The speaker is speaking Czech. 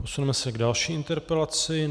Posuneme se k další interpelaci.